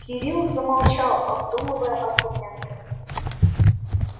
кирилл замолчал обдумывая аргументы